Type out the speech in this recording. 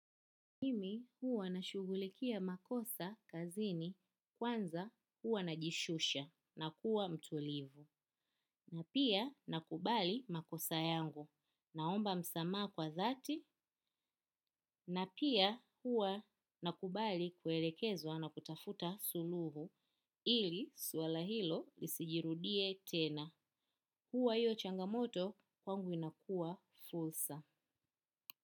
Mimi huwa nashughulikia makosa kazini kwanza huwa najishusha na kuwa mtulivu na pia nakubali makosa yangu naomba msamaha kwa dhati na pia huwa nakubali kuelekezwa na kutafuta suluhu ili suala hilo lisijirudie tena huwa hiyo changamoto kwangu inakua fursa.